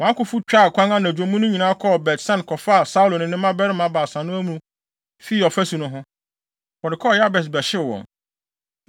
wɔn akofo twaa kwan anadwo mu no nyinaa kɔɔ Bet-San kɔfaa Saulo ne ne mmabarima baasa no amu fii ɔfasu no ho. Wɔde kɔɔ Yabes bɛhyew wɔn.